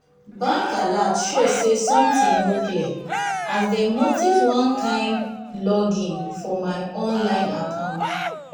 bank alert show say something no clear as dem notice one kin login for my online account.